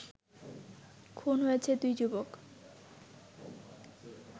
খুন হয়েছে দুই যুবক